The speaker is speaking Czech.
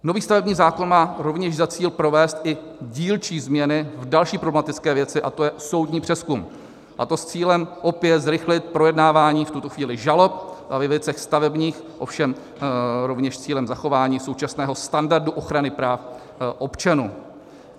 Nový stavební zákon má rovněž za cíl provést i dílčí změny v další problematické věci, a to je soudní přezkum, a to s cílem opět zrychlit projednávání v tuto chvíli žalob ve věcech stavebních, ovšem rovněž s cílem zachování současného standardu ochrany práv občanů.